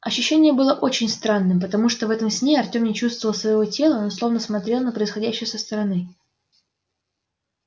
ощущение было очень странным потому что в этом сне артем не чувствовал своего тела но словно смотрел на происходящее со стороны